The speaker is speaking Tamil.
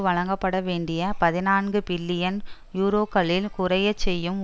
வழங்கப்படவேண்டிய பதினான்கு பில்லியன் யூரோகளில் குறையச்செய்யும்